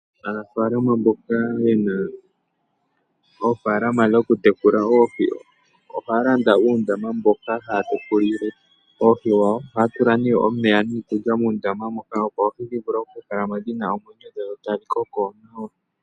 Aanafalama mboka yena oofalama dhoku tekula oohi, ohaya landa uundama moka haya tekulile oohi dhawo, muna omeya niikulya mondama moka, opo dhi vule oku kalamo dhina omwenyo, dho tadhi koko nawa.